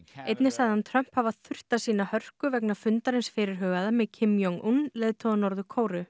einnig sagði hann Trump hafa þurft að sýna hörku vegna fundarins fyrirhugaða með Kim Jong un leiðtoga Norður Kóreu